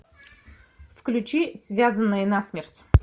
включи связанные насмерть